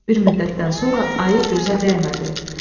Bir müddətdən sonra ayı gözə dəymədi.